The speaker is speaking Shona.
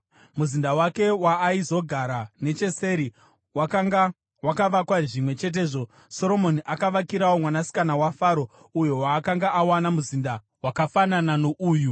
Muzinda wake waaizogara necheseri, wakanga wakavakwa zvimwe chetezvo. Soromoni akavakirawo mwanasikana waFaro, uyo waakanga awana, muzinda wakafanana nouyu.